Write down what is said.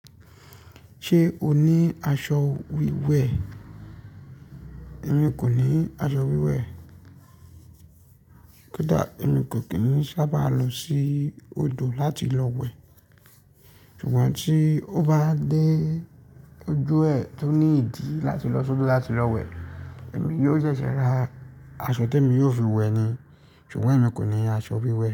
Ṣé o ní aṣọ wíwẹ̀? Èmi kò ní aṣọ wíwẹ̀. Ko dà? Èmi kò kí ń sábà lọ sí odò láti lọ wẹ̀. Ṣùgbọ́n tí ó bá dé ojú ẹ̀ tó ní ìdí láti lọ sórí láti lọ wẹ̀, èmi yóò ṣẹ̀ṣẹ̀ ra aṣọ tí èmi yóò fi wẹ̀ ni. Ṣùgbọ́n èmi kò ní aṣọ wíwẹ̀